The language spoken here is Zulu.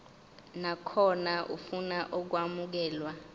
nakhona ofuna ukwamukelwa